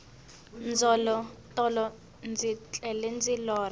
tolo ndzi tlele ndi lorha